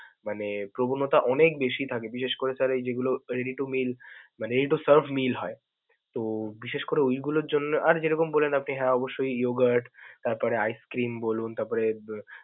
মানে প্রবনতা অনেক বেশি থাকে, বিশেষ করে sir এই যে এগুলো ready to meal, ready to serve হয়. তো বিশেষ করে ওইগুলোর জন্যে আর যেরকম বললেন আপনি হ্যা অবশ্যই, yoghurt তারপরে ice cream বলুন. তারপরে উম